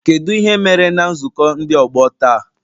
Kedu ihe mere na nzukọ ndị ọgbọ taa?